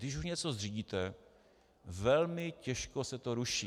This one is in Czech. Když už něco zřídíte, velmi těžko se to ruší.